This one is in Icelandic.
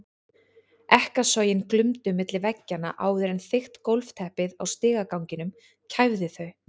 Ekkasogin glumdu milli veggjanna áður en þykkt gólfteppið á stigaganginum kæfði þau.